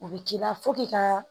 U bɛ k'i la fo k'i ka